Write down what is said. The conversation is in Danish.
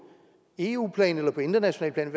eu plan eller på internationalt plan